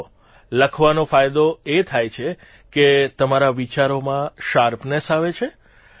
જુઓ લખવાનો ફાયદો એ થાય છે કે તમારા વિચારોમાં શાર્પનેસ આવે છે